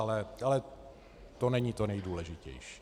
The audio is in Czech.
Ale to není to nejdůležitější.